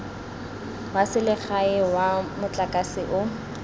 wa selegae wa motlakase o